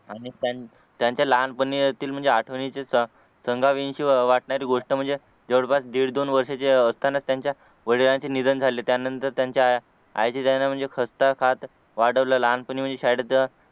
आणि त्यांच्या लहानपणातील आठवणी सांगावीशी वाटणारी गोष्ट म्हणजे जवळपास दीड-दोन वर्षाचे असतानाच त्यांच्या वडिलांचे निधन झाले त्यानंतर त्यांच्या आईचे त्यांना म्हणजे हसत खेळत वाढवलं लहानपणी शाळेत